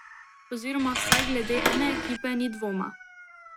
Oziroma vsaj glede ene ekipe ni dvoma.